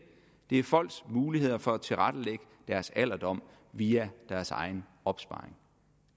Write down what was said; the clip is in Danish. er folks muligheder for at tilrettelægge deres alderdom via deres egen opsparing